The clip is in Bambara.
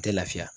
A tɛ lafiya